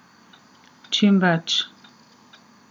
Čim več!